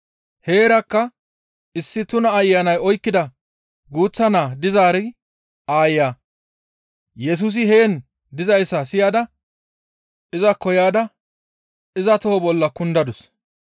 Heerakka issi tuna ayanay oykkida guuththa naa dizaari aaya Yesusi heen dizayssa siyada izakko yaada iza toho bolla kundadus.